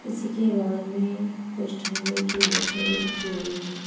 इसी के बगल मे कुछ ठंडे की बोतले भी रखी हुई हैं।